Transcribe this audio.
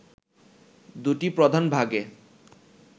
দুইটি প্রধান ভাগে